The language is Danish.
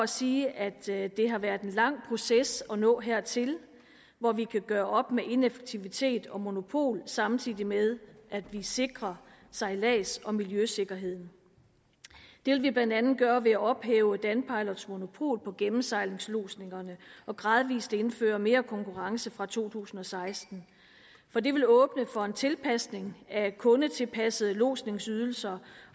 sige at det har været en lang proces at nå hertil hvor vi kan gøre op med ineffektivitet og monopol samtidig med at vi sikrer sejlads og miljøsikkerheden det vil vi blandt andet gøre ved at ophæve danpilots monopol på gennemsejlingslodsningerne og gradvis indføre mere konkurrence fra to tusind og seksten for det vil åbne for en tilpasning af kundetilpassede lodsningsydelser